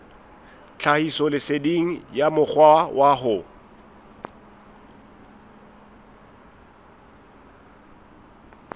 tlhahisoleseding ya mokgwa wa ho